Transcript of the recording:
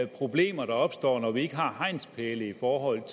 problemer der opstår når vi ikke har hegnspæle i forhold